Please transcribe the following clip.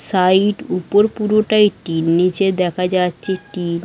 Side উপর পুরোটাই tin নীচে দেখা যাচ্ছে টিন ।